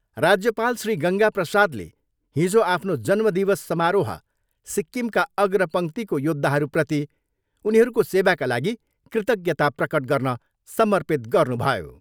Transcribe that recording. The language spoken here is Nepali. राज्यपाल श्री गङ्गा प्रसादले हिजो आफ्नो जन्मदिवस समारोह सिक्किमका अग्रपङ्क्तिको योद्धाहरूप्रति उनीहरूको सेवाका लागि कृज्ञता प्रकट गर्न समर्पित गर्नुभयो।